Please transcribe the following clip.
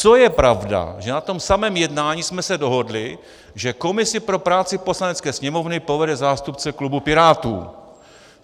Co je pravda, že na tom samém jednání jsme se dohodli, že komisi pro práci Poslanecké sněmovny povede zástupce klubu Pirátů.